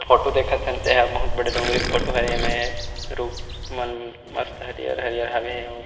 photo देखत हन ते ह बहुत बड़े डोंगरी फोटो हरे एमेर रुख मन मस्त हरियर-हरियर हाबे अउ --